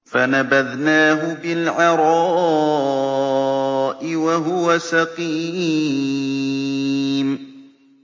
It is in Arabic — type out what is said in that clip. ۞ فَنَبَذْنَاهُ بِالْعَرَاءِ وَهُوَ سَقِيمٌ